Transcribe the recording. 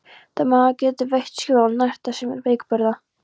Maður getur veitt skjól og nært það sem er veikburða.